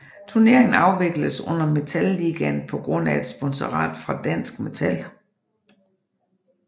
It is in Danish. Turneringen afvikledes under navnet Metal Ligaen på grund af et sponsorat fra Dansk Metal